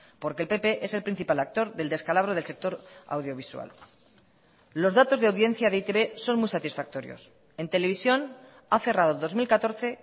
porque el pp es el principal actor del descalabro del sector audiovisual los datos de audiencia de e i te be son muy satisfactorios en televisión ha cerrado dos mil catorce